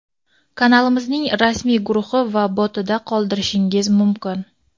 kanalimizning rasmiy guruhi va botida qoldirishingiz mumkin.